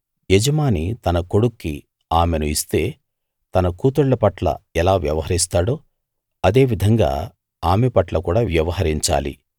యజమాని తన కొడుక్కి ఆమెను ఇస్తే తన కూతుళ్ళ పట్ల ఎలా వ్యవహరిస్తాడో అదే విధంగా ఆమె పట్ల కూడా వ్యవహరించాలి